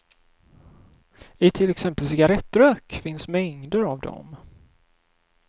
I till exempel cigarrettrök finns mängder av dem.